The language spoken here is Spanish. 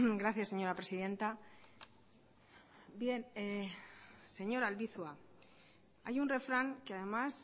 gracias señora presidenta bien señor albizua hay un refrán que además